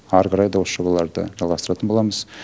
әрі қарай да осы жобаларды жалғастыратын боламыз